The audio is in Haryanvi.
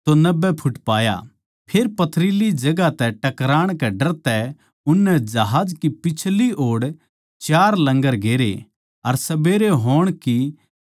फेर पथरीली जगहां तै टकराण कै डर तै उननै जहाज की पिछली ओड़ चार लंगर गेरे अर सबेरे होण की चाह करदे रहे